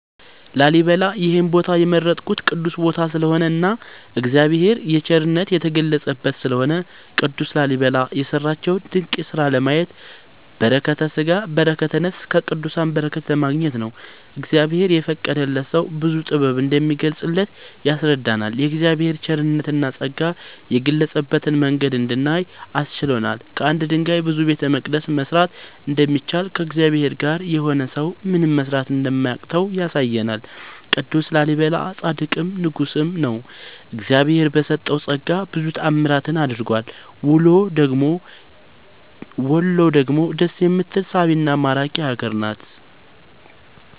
ላሊበላ ይሄን ቦታ የመረጥኩት ቅዱስ ቦታ ስለሆነ እና እግዚአብሔር የቸርነት የተገለፀበት ስለሆነ። ቅዱስ ላሊበላ የሰራቸውን ድንቅ ስራ ለማየት በረከተስጋ በረከተ ነፍስ ከቅዱሳን በረከት ለማግኘት ነው። እግዚአብሔር የፈቀደለት ሰው ብዙ ጥበብ እንደሚገለፅበት ያስረዳናል የእግዚአብሔር ቸርነትና ፀጋ የገለፀበትን መንገድ እንድናይ አስችሎናል። ከአንድ ድንጋይ ብዙ ቤተመቅደስ መስራት እንደሚቻል ከእግዚአብሔር ጋር የሆነ ሰው ምንም መስራት እንደማያቅተው ያሳየናል ቅዱስ ላሊበላ ፃድቅም ንጉስም ነው። እግዚአብሄር በሰጠው ፀጋ ብዙ ታዕምራትን አድርጓል ውሎ ደግሞ ደስ የምትል ሳቢና ማራኪ ሀገር ናት።…ተጨማሪ ይመልከቱ